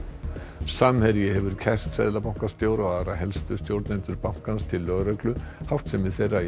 samherji hefur kært seðlabankastjóra og aðra helstu stjórnendur bankans til lögreglu háttsemi þeirra í